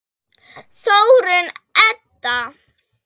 Þórunn Edda.